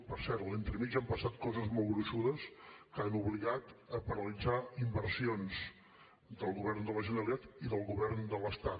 per cert entremig han passat coses molt gruixudes que han obligat a paralitzar inversions del govern de la generalitat i del govern de l’estat